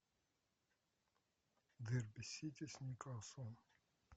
дерби сити с ньюкаслом